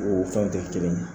O fɛnw tɛ kɛ kelen ye.